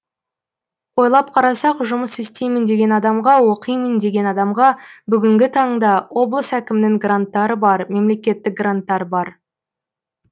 ойлап қарасақ жұмыс істеймін деген адамға оқимын деген адамға бүгінгі таңда облыс әкімінің гранттары бар мемлекеттік гранттар бар